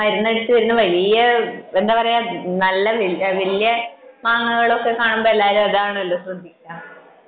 മരുന്നടിച്ചു വരുന്ന വലിയ എന്താ പറയാ നല്ല വലിയ മാങ്ങകൾ കാണുമ്പോൾ എല്ലാരും അതാണല്ലോ ശ്രദ്ധിക്കുക